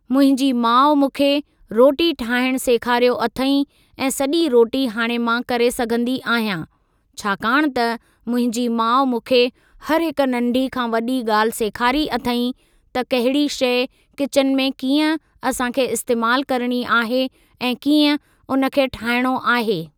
मुंहिंजी माउ मूंखे रोटी ठाहिण सेखारियो अथईं ऐं सॼी रोटी हाणे मां करे सघंदी आहियां छाकाणि त मुंहिंजी माउ मूंखे हर हिक नंढ़ी खां वॾी ॻाल्हि सेखारी अथईं त कहिड़ी शइ किचन में कीअं असांखे इस्तेमालु करणी आहे ऐं कीअं उन खे ठाहिणो आहे।